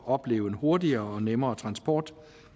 opleve en hurtigere og nemmere transport